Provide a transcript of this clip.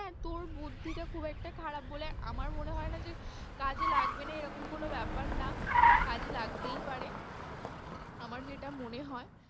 হ্যাঁ, তোর বুদ্ধিটা খুব একটা খারাপ বলে আমার মনে হয় না যে কাজে লাগবে না এরকম কোনো ব্যাপার না, কাজে লাগতেই পারে আমার সেটা মনে হয়।